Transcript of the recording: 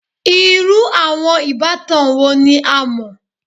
Iru awọn ibatan wo ni a mọ?